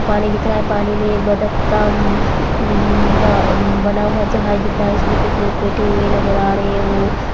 पानी दिख रहा है पानी में एक बतक का अ अम अ न बना हुवा जहाज दिख रहा है उसमे कुछ लोग बैठे हुए नजर आ रहे हैं वो --